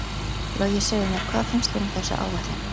Logi, segðu mér, hvað finnst þér um þessa áætlun?